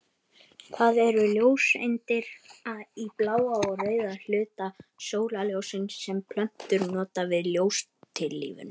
Það eru ljóseindir í bláa og rauða hluta sólarljóssins sem plöntur nota við ljóstillífun.